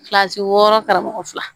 Kilasi wɔɔrɔ karamɔgɔ fila